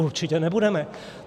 Určitě nebudeme.